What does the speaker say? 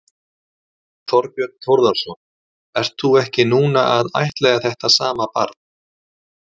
Þorbjörn Þórðarson: Ert þú ekki núna að ættleiða þetta sama barn?